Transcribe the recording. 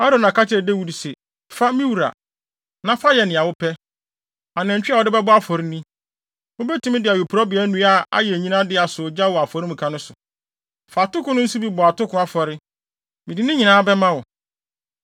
Arauna ka kyerɛɛ Dawid se, “Fa, me wura, na fa yɛ nea wopɛ. Anantwi a wode bɛbɔ afɔre ni. Wubetumi de awiporowbea nnua yi ayɛ nnyina de asɔ gya wɔ afɔremuka no so. Fa atoko no nso bɔ atoko afɔre. Mede ne nyinaa bɛma wo.”